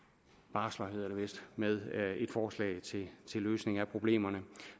barsler hedder det vist med et forslag til løsning af problemerne